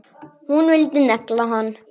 Hún vildi negla hann!